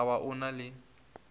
ka ba o na le